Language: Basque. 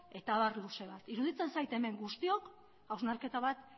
eta abar luze bat iruditzen zait hemen guztiok hausnarketa bat